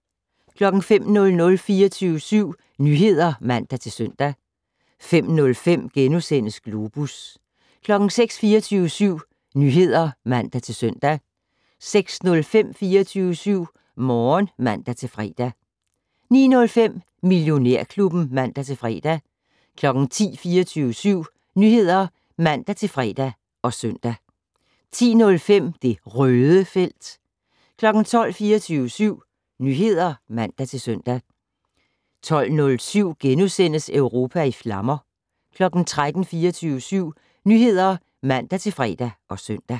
05:00: 24syv Nyheder (man-søn) 05:05: Globus * 06:00: 24syv Nyheder (man-søn) 06:05: 24syv Morgen (man-fre) 09:05: Millionærklubben (man-fre) 10:00: 24syv Nyheder (man-fre og søn) 10:05: Det Røde felt 12:00: 24syv Nyheder (man-søn) 12:07: Europa i flammer * 13:00: 24syv Nyheder (man-fre og søn)